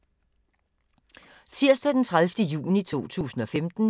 Tirsdag d. 30. juni 2015